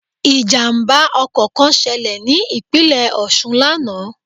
Ìjàmbá ọkọ̀ kan ṣẹlẹ̀ ní Ìpínlẹ̀ Òṣun lánàá